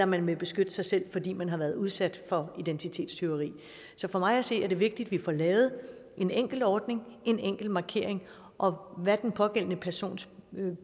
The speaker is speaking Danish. man vil beskytte sig selv fordi man har været udsat for identitetstyveri for mig at se er det vigtigt at vi får lavet en enkel ordning en enkel markering og hvad den pågældende persons